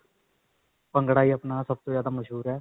ਭੰਗੜਾ ਹੀ ਅਪਣਾ ਸਭ ਤੋਂ ਜਿਆਦਾ ਮਸ਼ਹੂਰ ਹੈ.